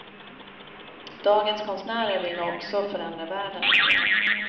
Dagens konstnärer vill nog också förändra världen lite grann.